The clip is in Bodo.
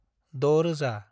6000